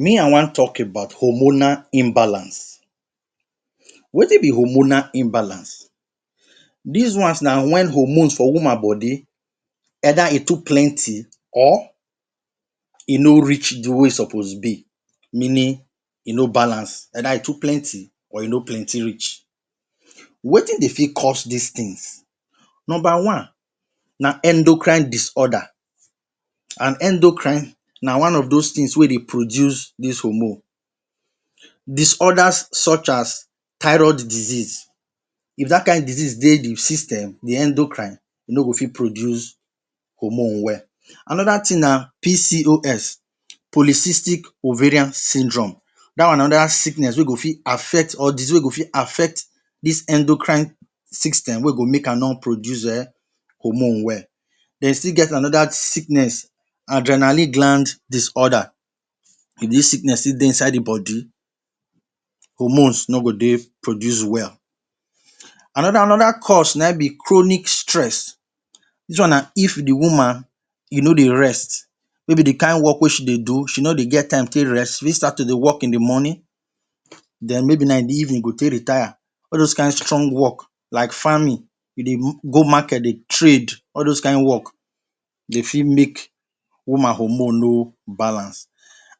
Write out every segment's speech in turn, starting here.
Me i wan talk about hormonal imbalance wetin be hormonal imbalance dis ones na wen hormones for woman body either e too plenty or e no reach di way suppose be meaning e no balance either e too plenty or e no plenty reach wetin dey fit cause dis tins number one na endocrine disorder and endocrine na one of dos tins wey e dey produce dis hormone. Disorders such as thyroid disease if dat kain disease dey di system di endocrine e no go fit produce hormone well anoda tin na PCOS policistic ovarian syndrome dat one anoda sickness wey go fit affect or disease wey go fit affect dis endocrine system wey go make no produce[um]hormone well dem still get anoda sickness and adrenaline gland disorder wen dis sickness dey inside di body hormones no go dey produce well anoda cause na him be chronic stress dis one na if di woman you no dey rest wey be di kain wok wey she dey do she no dey get time take rest she dey start to dey wok in di morning den maybe na in di evening i e go take retire all dos kain strong wok like farming we dey go market dey trade all dos kain wok dey fit make woman hormone no balance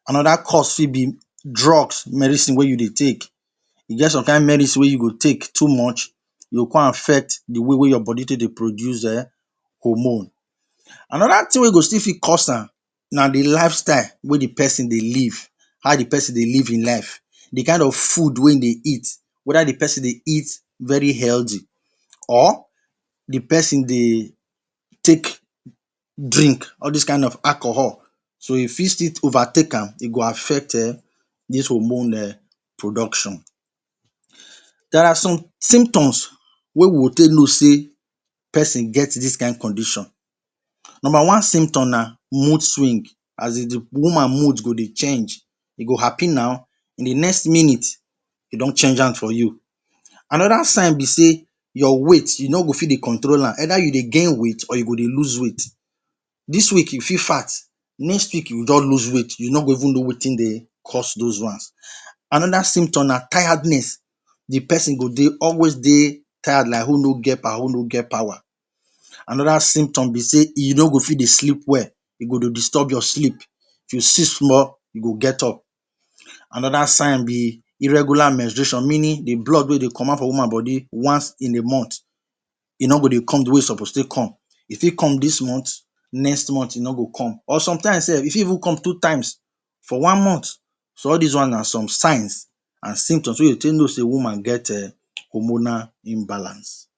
anoda cause fit be drugs medicine wey you dey take you get some kain medicine wey you go take too much you go come affect di way wey your body take dey produce hormone anoda tin wey you go still fit cause am na di lifestyle wey di pesin dey live how di pesin dey live in life di kain of food wey dey eat weda di pesin dey eat very healthy or di pesin dey take drink all dis kain of alcohol so you fit still overtake am e go affect um dis hormone production dia are some symptoms wey we go take know say pesin get dis kain condition number one symptom na mood swing as e dey woman mood go dey change e go happy now in di next minute e don change am for you anoda sign be say your weight you no go fit dey control am either you dey gain weight or you go dey lose weight dis week you fit fat next week in don lose weight you no go even know wetin dey cause dos ones. Anoda symptom na tiredness di pesin go dey always dey tired like who no get power anoda symptom be say e no go fit dey sleep well e go dey disturb your sleep if you sleep small you go get up anoda sign be irregular menstruation meaning di blood wey dey comot for woman body once in a month e no go dey come di way suppose e fit come dis month next month e no go come or somtime e fit even come two times for one month so all dis one na somtime and symptoms wey you take know say woman get hormonal imbalance.